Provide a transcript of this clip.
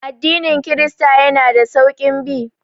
Addinin kirista yana da sauƙin bi